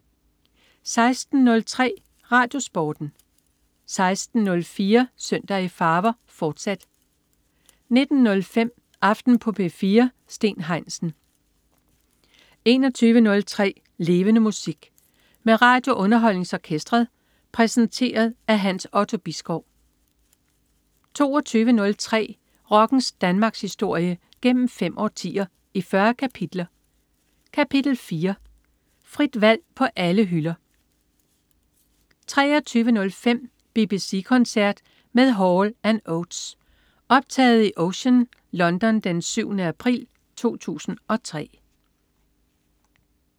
16.03 RadioSporten 16.04 Søndag i farver, fortsat 19.05 Aften på P4. Steen Heinsen 21.03 Levende Musik. Med RadioUnderholdningsOrkestret. Præsenteret af Hans Otto Bisgaard 22.03 Rockens Danmarkshistorie, gennem fem årtier, i 40 kapitler. Kapitel 4: Frit valg på alle hylder 23.05 BBC koncert med Hall & Oates. Optaget i Ocean, London den 7. april 2003